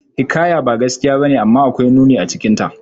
Hikaya ba gaskiya bace, amma akwai nuni acikinta.